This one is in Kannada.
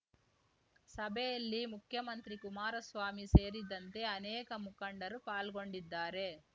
ಸಭೆಯಲ್ಲಿ ಮುಖ್ಯಮಂತ್ರಿ ಕುಮಾರಸ್ವಾಮಿ ಸೇರಿದಂತೆ ಅನೇಕ ಮುಖಂಡರು ಪಾಲ್ಗೊಂಡಿದ್ದಾರೆ